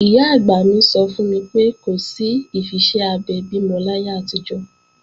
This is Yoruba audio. Ìyá-àgbà mi sọ fún mi pé, kò sí ìfiṣẹ́ abẹ bímọ láyé àtijọ́